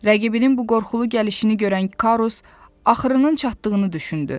Rəqibinin bu qorxulu gəlişini görən Karus axırının çatdığını düşündü.